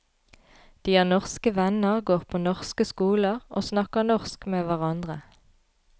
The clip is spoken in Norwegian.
De har norske venner, går på norske skoler, og snakker norsk med hverandre.